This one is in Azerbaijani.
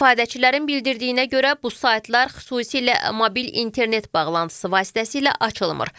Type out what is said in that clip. İstifadəçilərin bildirdiyinə görə bu saytlar xüsusilə mobil internet bağlantısı vasitəsilə açılmır.